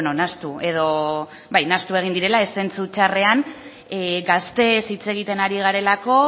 egin direla zentzu txarrean gazteez hitz egiten garelako